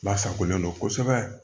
Lasagolen don kosɛbɛ